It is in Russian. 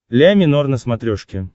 ля минор на смотрешке